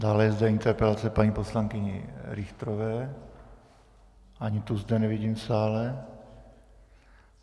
Dále je zde interpelace paní poslankyně Richterové, ani tu zde nevidím v sále.